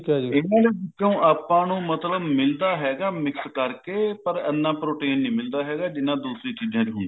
ਇਹਨਾਂ ਵਿੱਚੋ ਆਪਾਂ ਨੂੰ ਮਤਲਬ ਮਿਲਦਾ ਹੈਗਾ mix ਕਰਕੇ ਪਰ ਇਹਨਾ protein ਨਹੀਂ ਮਿਲਦਾ ਹੈਗਾ ਜਿੰਨਾ ਦੂਸਰੀ ਚੀਜਾਂ ਚ ਹੁੰਦਾ